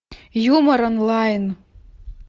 юмор онлайн